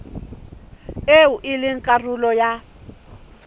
eo e leng karolo ya